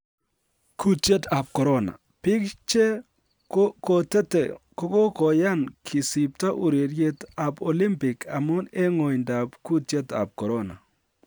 Kutiet ab Korona: Biik che ko kotete kogokoyan kisipto ureriet ab Olimpik amun en ng'oindab kutietab Korona